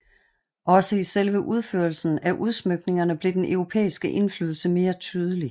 Også i selve udførelsen af udsmykningerne blev den europæiske indflydelse mere tydelig